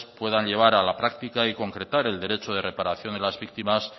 puedan llevar a la práctica y concretar el derecho de reparación de las víctimas